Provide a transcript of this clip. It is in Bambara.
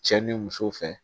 Cɛ ni muso fɛ